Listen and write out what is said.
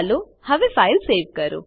ચાલો હવે file save કરો